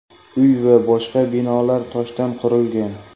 Uy va boshqa binolar toshdan qurilgan.